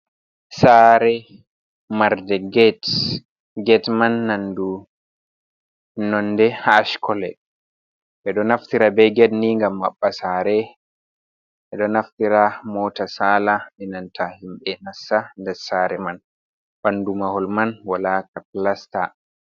Sare marnde get man nandu nonde ash kolo, ɓe ɗo naftira be get ni ngam maɓɓa sare, ɓe ɗo naftira mota sala inanta himɓe nasta, nda sare man ɓandu mahol man waɗa ka plasta.